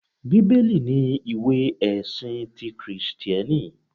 Bíbélì ni ìwé ẹ̀sin ti Kìrìsìtíẹ́nì